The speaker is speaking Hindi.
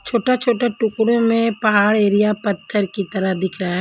छोटा छोटा टुकड़ो में पहाड़ एरिया पत्थर की तरह दिख रहा--